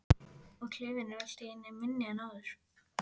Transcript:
Og klefinn er allt í einu minni en áður.